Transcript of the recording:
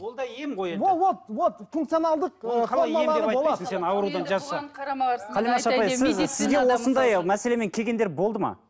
ол да ем ғой енді вот функцияналдық осындай мәселемен келгендер болды ма